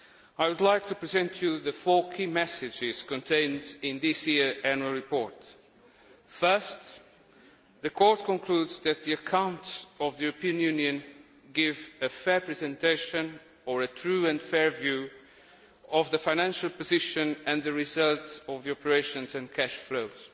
I would like to present to the House the four key messages contained in this year's annual report. First, the Court concludes that the accounts of the European Union give a fair presentation, and a true and fair view, of the financial position and the result of operations and cash flows.